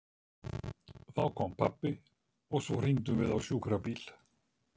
Þá kom pabbi og svo hringdum við á sjúkrabíl.